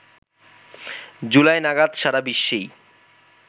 জুলাই নাগাদ সারা বিশ্বেই